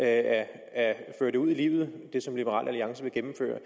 at føre det ud i livet som liberal alliance vil gennemføre